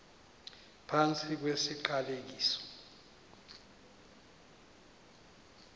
phantsi kwesi siqalekiso